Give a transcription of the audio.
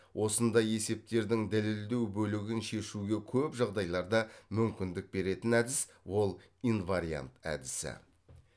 осындай есептердің дәлелдеу бөлігін шешуге көп жағдайларда мүмкіндік беретін әдіс ол инвариант әдісі